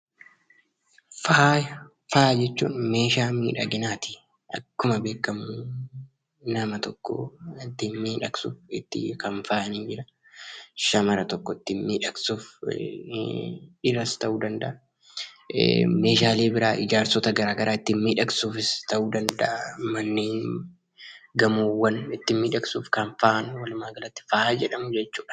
Faaya jechuun meeshaa miidhaginaati. Akkuma beekamu nama tokko ittiin miidhagsu, ittiin kan faayanidha. Shamara tokko ittiin miidhagsuuf, dhiiras ta'uu danda'a, meeshaalee biraa ijaarsota gara garaa ittiin miidhagsuufis ta'uu danda'a, manneen, gamoowwan ittiin miidhagsuuf kan faayan walumaagalatti faaya jedhamu jechuudha.